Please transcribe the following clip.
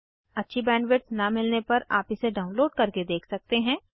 अच्छी बैंडविड्थ न मिलने पर आप इसे डाउनलोड करके देख सकते हैं